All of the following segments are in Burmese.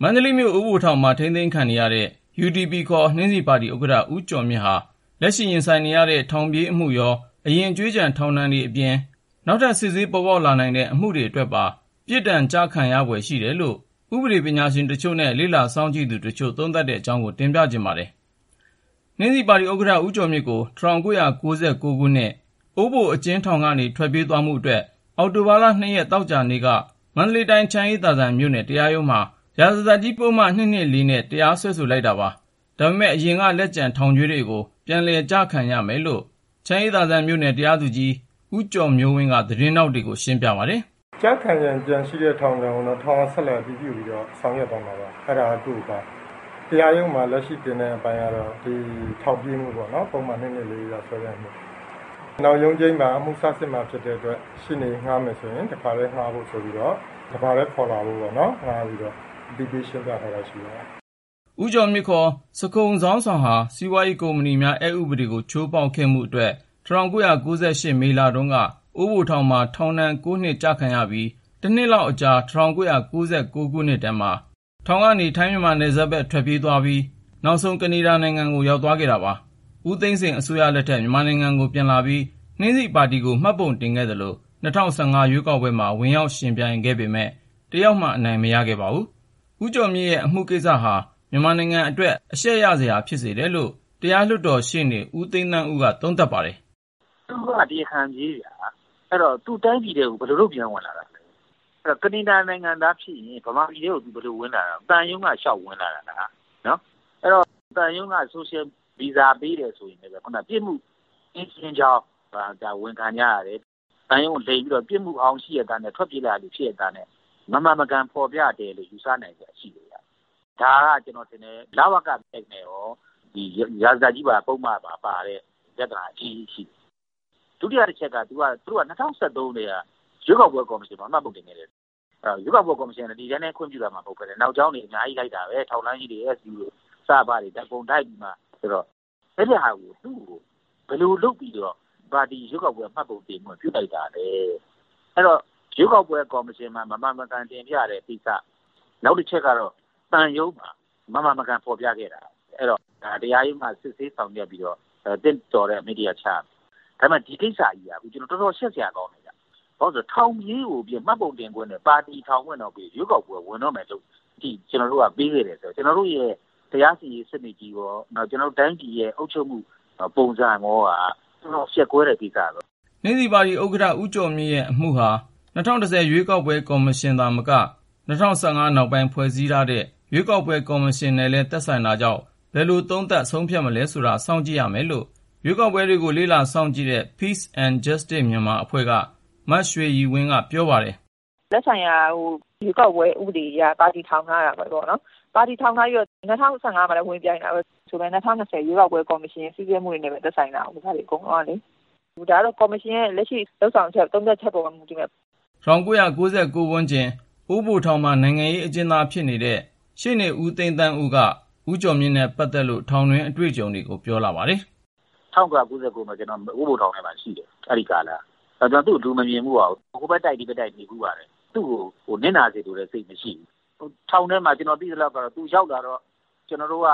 မန္တလေး အိုးဘိုထောင်မှာ ထိန်းသိမ်းခံနေရတဲ့ UDP ခေါ် နှင်းဆီပါတီ ဥက္ကဌ ဦးကျော်မြင့်ဟာ လက်ရှိ ရင်ဆိုင်နေရတဲ့ ထောင်ပြေးအမှုရော၊ အရင် ကြွေးကျန် ထောင်ဒဏ်တွေအပြင် နောက်ထပ် စစ်ဆေးပေါ်ပေါက်လာနိုင်တဲ့ အမှုတွေအတွက်ပါ ပြစ်ဒဏ်ကျခံရဖွယ် ရှိတယ်လို့ ဥပဒေပညာရှင် တချို့နဲ့ လေ့လာစောင့်ကြည့်သူတချို့ သုံးသပ်ကြတဲ့အကြောင်း ကိုဉာဏ်ဝင်းအောင် စုစည်းတင်ပြထားပါတယ်။ နှင်းဆီပါတီ ဥက္ကဌ ဦးကျော်မြင့်ကို ၁၉၉၉ ခုနှစ် အိုးဘိုအကျဉ်းထောင် ကနေ ထွက်ပြေးသွားမှုအတွက် အောက်တိုဘာ ရက် သောကြာနေ့က မန္တလေးတိုင်း ချမ်းအေးသာစံ မြို့နယ်တရားရုံးမှာ ရာဇသတ်ကြီးပုဒ်မ ၂၂၄ နဲ့ တရားစွဲဆို လိုက်တာပါ။ ဒါပေမဲ့ အရင်က လက်ကျန် ထောင်ကြွေးတွေကို ပြန်လည် ကျခံရမယ်လို့ ချမ်းအေးသာစံမြို့နယ် တရားသူကြီး ဦးကျော်မျိုးဝင်းက သတင်းထောက်တွေကို ရှင်းပြပါတယ်။ " ကျခံရန် ကျန်ရှိတဲ့ ထောင်ဒဏ်ကိုတော့ ထောင်ကဆက်လက် အတည်ပြုပြီးတော့ ဆောင်ရွက်သွားမှာပါ။ အဲဒါက သူ့အပိုင်း။ တရားရုံးမှာ လက်ရှိတင်တဲ့အပိုင်းကတော့ ဒီ ထောင်ပြေးမှုပေါ့နော် ပုဒ်မ ၂၂၄ အရ စွဲတဲ့အမှုကို တရားရုံးက ဆက်လက်စီရင်သွားပါမယ်။ နောက်ရုံးချိန်းမှာ အမှုစစ်မှာဖြစ်တဲ့အတွက် ရှေ့နေငှားမယ်ဆိုရင် တခါတည်းငှားဖို့ တပါတည်း ခေါ်လာဖို့ သူ့ကို အသိပေး ရှင်းပြထားတာ ရှိပါတယ်။ " ဦးကျော်မြင့် ဇခုန်ဇုန်းဆောင် ဟာ စီးပွားရေးကုမ္ပဏီများ အက်ဥပဒေကို ချိုးဖေါက်ခဲ့မှုအတွက် ၁၉၉၈ မေလတုန်းက အိုးဘိုထောင်မှာ ထောင်ဒဏ် နှစ်ကျခံနေချိန် ၁ နှစ်လောက်အကြာ ၁၉၉၉ ခုထဲမှာ ထောင်ကနေ ထိုင်း-မြန်မာနယ်စပ်ဘက် ထွက်ပြေးသ ွားခဲ့ပြီးနောက် ကနေဒါနိုင်ငံကို ရောက်သွားခဲ့တာပါ။ ဦးသိန်းစိန် အစိုးရလက်ထက်မှာ မြန်မာနိုင်ငံကို ပြန်လာပြီး နှင်းဆီပါတီ UDP ကို မှတ်ပုံတင်ခဲ့သလို ၂၀၁၅ ရွေးကောက်ပွဲမှာ ဝင်ပြိုင်ခဲ့ပေမဲ့ တယောက်မှ အနိုင်မရ ခဲ့ပါဘူး။ ဦးကျော်မြင့်ရဲ့အမှုကိစ္စဟာ မြန်မာနိုင်ငံနိုင်ငံအတွက် အရှက်ရစရာ ဖြစ်စေတယ်လို့ တရားလွှတ်တော် ရှေ့နေ ဦးသိန်းသန်းဦးက သုံးသပ်ပါတယ်။ " သူက တရားခံပြေးဗျာ၊ အဲဒီတော့ သူက တိုင်းပြည်ထဲ ဘယ်လိုလုပ် ပြန်ဝင်လာတာလဲ။ အဲဒီတော့ ကနေဒါ နိုင်ငံသားဖြစ်ရင် မြန်မာနိုင်ငံထဲကို ဘယ်လိုလုပ် ဝင်လာတာတုန်း၊ သံရုံးမှာ ဗီဇာလျှောက်ပြီး ဝင်လာတာလား။ အဲဒီတော့ သံရုံးက Social Visa ပေးတယ်ဆိုရင်လည်းပဲ ပြစ်မှုကင်းရှင်းကြောင်း ဝန်ခံကြရတယ်။ သံရုံးကို လိမ်ပြီးတော့ ပြစ်မှုဟောင်း ရှိရဲ့သားနဲ့ ထ ွက်ပြေးလာတဲ့သူ ဖြစ်ရဲ့သားနဲ့ မမှန်မကန် ဖေါ်ပြခဲ့တယ်လို့ ယူဆနိုင်စရာရှိတယ်ဗျ။ ဒါက လဝကအက်နဲ့ရော ရာဇသတ်ကြီးပါ ပုဒ်မပါ ပါတဲ့ ပြဿနာအကြီးကြီး ရှိတယ်။ ဒုတိယတချက်က သူတို့က ၂၀၁၃ ကတည်းက ရွေးကောက်ပွဲ ကော်မရှင်မှာ မှတ်ပုံတင်ခဲ့ကြတယ်။ ရွေးကောက်ပွဲ ကော်မရှင်က ဒီအတိုင်း ခွင့်ပြုလိုက်တာမှ မဟုတ်ပဲ။ နောက်ကြောင်းတွေ အများကြီးလိုက်တာပဲ ၊ ထောက်လှမ်းရေးတွေ SB တွေ စရဖ တွေနဲ့အကုန်လိုက်ပြီးမှ လုပ်ကြတာဆိုတော့.. သူ့ကို သူ့ပါတီကို ဘယ်လိုလုပ်ပြီးတော့များ ရွေးကောက်ပွဲ မှတ်ပုံတင်ခွင့် ပြုလိုက်တာလဲ။ အဲဒီတော့ ရွေးကောက်ပွဲ ကော်မရှင်မှာ မမှန်မကန် တင်ပြတဲ့ကိစ္စ၊ နောက်ပြီး သံရုံးမှာ မမှန်မကန် ဖေါ်ပြခဲ့တာတွေကို တရားရုံးမှာ စစ်ဆေးဆောင်ရွက်ပြီး သင့်တော်တဲ့ အမိန့်တရပ် ချရမယ်။ ဒီကိစ္စကြီးက တော်တော် ရှက်စရာကောင်းတယ်ဗျ။ ဘာလို့လဲဆိုတော့ ထောင်ပြေးကို မှတ်ပုံတင်ခွင့်တို့ ပါတီထောင်ခွင့်တို့ ရွေးကောက်ပွဲ ဝင်တော့မယ့် အခြေအနေထိ ပေးခဲ့တယ်ဆိုတော့ ကျနော်တို့ရဲ့ ဥပေဒစိုးမိုးမှု တရားစီရင်ရေး စနစ်ကြီးရော ကျနော်တို့တိုင်းပြည်ရဲ့ အုပ်ချုပ်မှု ပုံစံရောက တော်တော် အရှက်ကွဲတဲ့ ကိစ္စပဲဗျ။ " နှင်းဆီပါတီဥက္ကဌ ဦးကျော်မြင့်ရဲ့အမှုဟာ ၂၀၁၀ ရွေးကောက်ပွဲ ကော်မရှင်နဲ့သာမက ၂၀၁၅ နောက်ပိုင်း ဖွဲ့စည်းထားတဲ့ ရွေးကောက်ပွဲကော်မရှင်နဲ့လည်း သက်ဆိုင်တာကြောင့် ဘယ်လိုသုံးသပ် ဆုံးဖြတ်မလဲဆိုတာ စောင့်ကြည့်ရမယ်လို့ ရွေးကောက်ပွဲ လေ့လာစောင့်ကြည့်ရေး Peace and Justice Myanmar အဖွဲ့က မရွှေရည်ဝင်းက ပြောပါတယ်။ " သက်ဆိုင်ရာ ရွေးကောက်ပွဲဥပဒေအရ ပါတီထောင်ထားတာပဲပေါ့နော် ။ ပါတီ ထောင်ထားပြီး ၂၀၁၅ မှာလည်း ဝင်ပြိုင်တာပဲ ဆိုပေမယ့် ၂၀၂၀ ရွေးကောက်ပွဲ ကော်မရှင်ရဲ့ စည်းမျည်းဥပဒေတွေနဲ့ သက်ဆိုင်တာကိုး ဒါတွေအကုန်လုံးကလေ ။ ဒါကတော့ ကော်မရှင်ရဲ့လက်ရှိ လုပ်ဆောင်ချက် သုံးသပ်ချက်ပေါ်မှာ မူတည်ပါလိမ့်မယ်။ " ၁၉၉၉ ဝန်းကျင် အိုးဘိုထောင်မှာ နိုင်ငံရေးအကျဉ်သား ဖြစ်နေသူ ရှေ့နေ ဦးသိန်းသန်းဦးက ဦးကျော်မြင့်နဲ့ပတ်သက်တဲ့ ထောင်တွင်းအတွေ့အကြုံကို ပြောလာပါတယ်။ " ၁၉၉၉ မှာ ကျနော် အိုးဘိုထောင်ထဲမှာရှိတယ် အဲဒီကာလက။ ဒါပေမဲ့ ကျနော်သူ့ကို မမြင်ဖူးပါဘူး။ ဟိုဘက်တိုက် ဒီဘက်တိုက် နေဖူးပါတယ်။ သူ့ကို နစ်နာစေလိုတဲ့စိတ်နဲ့ ပြောတာတော့ မဟုတ်ဘူး၊ ထောင်ထဲမှာ ကျနော်သိသလောက် သူရောက်လာတော့ ကျနော်တို့က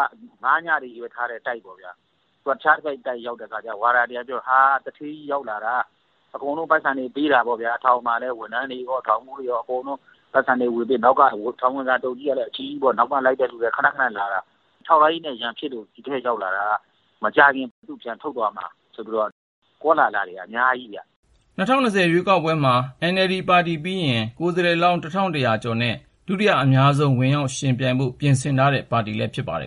၅-ည တွေချည်းပဲထားတဲ့ တိုက်မှာရှိနေတယ်ပေါ့။ သူက အခြားတိုက်မှာဆိုတော့ ဝါဒါတွေက ပြောတယ် 'ဟာ.. သူဌေးကြီး ရောက်လာတာ ၊ ထောင်မှာလည်း ထောင်မှူးတွေရော ဝန်ထမ်းတွေပါ အကုန်လုံးကို ပိုက်ဆံတွေ ဝေပေးတယ်။' ပေ့ါဗျာ။ နောက်ပြီး ထောင်ဝင်စာအထုတ်ကြီးကလည်း အကြီးကြီးပေါ့။ ခနခနလည်း လာတာ။ ထောက်လှမ်းရေးနဲ့ ရန်ဖြစ်လို့ ဒီထဲရောက်လာတာ။ မကြာခင် သူ့ကို လာပြန်ထုတ်သွားမှာ.. ဆိုတဲ့ ကောလဟလတွေက အများကြီး ကြားခဲ့ရတယ်။ " နှင်းဆီပါတီ UDP ဟာ ၂၀၂၀ ရွေးကောက်ပွဲမှာ NLD ပါတီပြီးရင် ကိုယ်စားလှယ်လောင်း ကျော်နဲ့ ဒုတိယအများဆုံး ဝင်ရောက်ယှဉ်ပြိုင်ဖို့ ပြင်ဆင်ထားတဲ့ ပါတီလည်း ဖြစ်ပါတယ်